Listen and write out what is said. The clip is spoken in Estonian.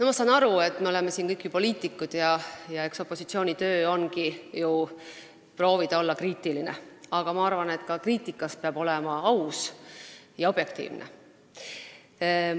Ma saan aru, et me oleme siin kõik poliitikud ja eks opositsiooni töö olegi ju proovida olla kriitiline, aga ma arvan, et ka kriitikat tehes peab olema aus ja objektiivne.